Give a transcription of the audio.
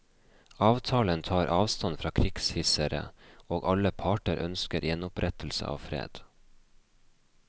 Avtalen tar avstand fra krigshissere, og alle parter ønsker gjenopprettelse av fred.